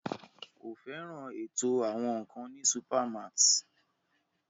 Kò fẹ́ràn ètò àwọn nkan ní supermarts.